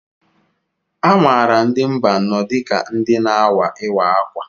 Amaara ndị Mbaanọ dịka ndị na-awa Ịwa ákwà.